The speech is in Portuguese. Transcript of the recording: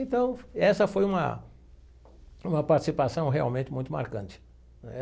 Então, essa foi uma uma participação realmente muito marcante.